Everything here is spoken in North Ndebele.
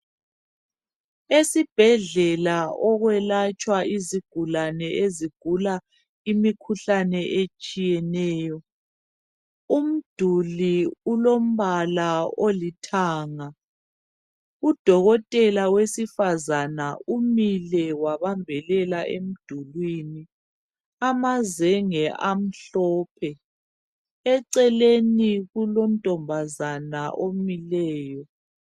Esibhedlela okwelatshwa izigulane ezigula imikhuhlane etshiyeneyo. Umduli ulombala olithanga udokotela wesifazana umile wabambelela emdulwini amazenge amhlophe eceleni kulontombazana omileyo.